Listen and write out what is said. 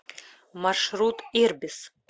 маршрут ирбис